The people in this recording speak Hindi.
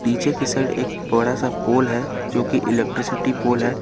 पीछे के साइड एक बड़ा सा पोल है जो कि इलेक्ट्रिसिटी पोल है।